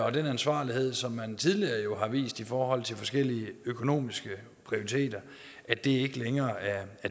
at den ansvarlighed som man tidligere har vist i forhold til forskellige økonomiske prioriteter ikke længere er